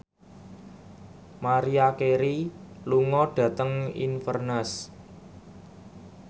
Maria Carey lunga dhateng Inverness